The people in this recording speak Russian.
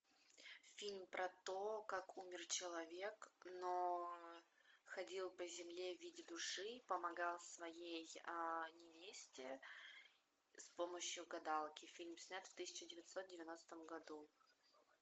фильм про то как умер человек но ходил по земле в виде души помогал своей невесте с помощью гадалки фильм снят в тысяча девятьсот девяностом году